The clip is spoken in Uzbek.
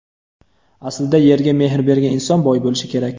Aslida yerga mehr bergan inson boy bo‘lishi kerak.